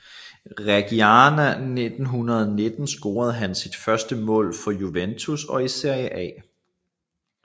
Reggiana 1919 scorede han sit første mål for Juventus og i Serie A